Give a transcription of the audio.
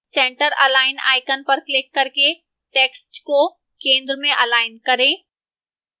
centre align icon पर click करके text को centre में अलाइन करें